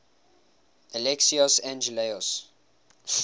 alexios angelos